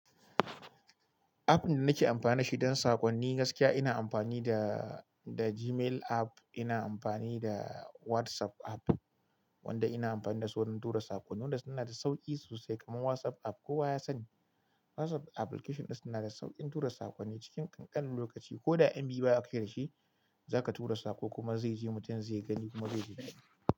App ɗin da nake amfani da shi don sakonni gaskiya ina amfani da, da Gmail app, ina amfani da WhatsApp app wanda ina amfani da su wurin tura sakonni wanda suna da sauƙi sosai, kamar WhatsApp app kowa ya sani. WhatsApp application ɗin suna da sauƙin tura sakonni cikin ƙanƙanin lokaci. Ko da MB baya kai da shi, zaka tura saƙo kuma zai je mutum zai gani kuma zai ji daɗi.